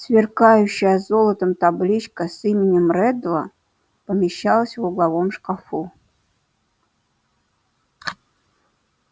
сверкающая золотом табличка с именем реддла помещалась в угловом шкафу